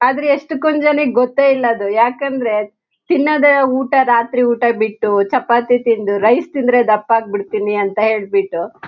ಆದ್ರೆ ಎಶ್ಟಕೊಂ ಜನಕ್ಕೆ ಗೊತ್ತೇ ಇಲ್ಲ ಅದು ಯಾಕಂದ್ರೆ ತಿನ್ನೋದೇ ಊಟ ರಾತ್ರಿ ಊಟ ಬಿಟ್ಟು ಚಪಾತಿ ತಿನ್ನದು ರೈಸ್ ತಿಂದ್ರೆ ದಪ್ಪ ಆಗ್ಬಿಡ್ತೀನಿ ಅಂತ ಹೇಳ್ಬಿಟ್ಟು --